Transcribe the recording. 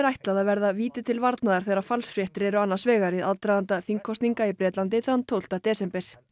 að verða víti til varnaðar þegar falsfréttir eru annars vegar í aðdraganda þingkosninga í Bretlandi þann tólfta desember